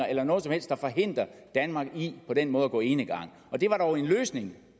eller noget som helst der forhindrer danmark i på den måde at gå enegang det var dog en løsning